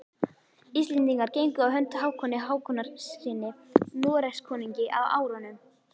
Íslendingar gengu á hönd Hákoni Hákonarsyni Noregskonungi á árunum